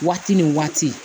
Waati ni waati